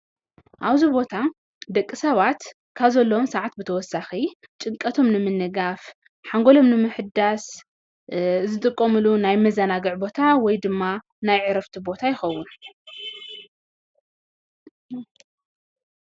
ኣብዚ ቦታ ደቂ ሰባት ካብ ዘለዎም ሰዓት ብተወሳኺ ጭንቀቶሞ ንምንጋፍ ሓንጎሎም ንምሕዳስ ዝጥቀሙሎም ናይ መአናግዒ ቦታ ወይ ድማ ናይ ዕረፍቲ ቦታ ይከውን።